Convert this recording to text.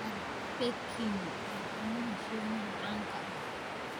Duck Peking waa cunnada Shiinaha caanka ah.